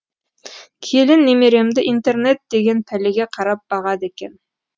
келін немеремді интернет деген пәлеге қарап бағады екен